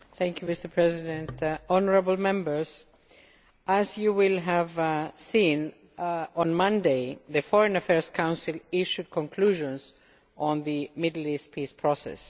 Mr President, honourable Members, as you will have seen, on Monday the Foreign Affairs Council issued conclusions on the Middle East peace process.